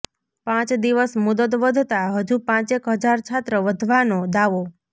પાંચ દિવસ મુદ્દત વધતા હજૂ પાંચેક હજાર છાત્ર વધવાનો દાવો